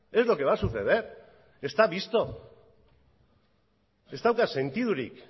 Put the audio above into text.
es lo que va a suceder está visto ez dauka sentidurik